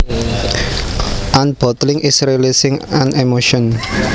Unbottling is releasing an emotion